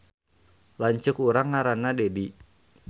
Lanceuk urang ngaranna Dedi